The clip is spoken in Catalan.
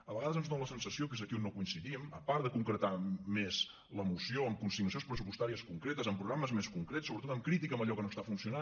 a vegades ens dona la sensació que és aquí on no coincidim a part de concretar més la moció amb consignacions pressupostàries concretes amb programes més concrets sobretot amb crítica a allò que no està funcionant